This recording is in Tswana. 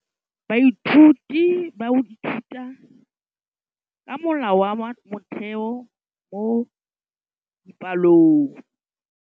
Baithuti ba ithuta ka molawana wa motheo mo dipalong.